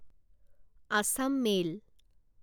Assam mail